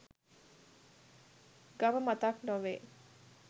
ගම මතක් නොවේ.